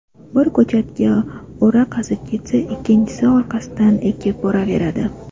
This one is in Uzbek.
Biri ko‘chatga o‘ra qazib ketsa, ikkinchisi orqasidan ekib boraveradi.